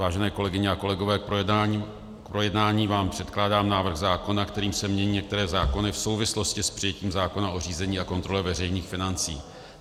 Vážené kolegyně a kolegové, k projednání vám předkládám návrh zákona, kterým se mění některé zákony v souvislosti s přijetím zákona o řízení a kontrole veřejných financí.